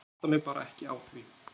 Ég átta mig bara ekki á því.